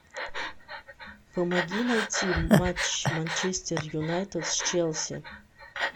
помоги найти матч манчестер юнайтед с челси